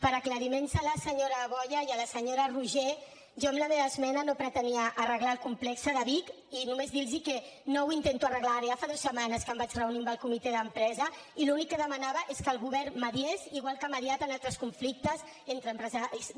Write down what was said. per aclariments a la senyora boya i a la senyora roigé jo amb la meva esmena no pretenia arreglar el complex de bic i només dir los que no ho intento arreglar ara ja fa dues setmanes que em vaig reunir amb el comitè d’empresa i l’únic que demanava és que el govern mediés igual que ha mediat en altres conflictes entre empresaris i treballadors